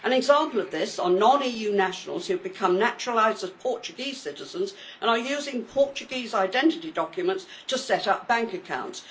An example of this is non EU nationals who become naturalised as Portuguese citizens and are using Portuguese identity documents to set up bank accounts.